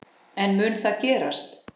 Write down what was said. En mun það gerast?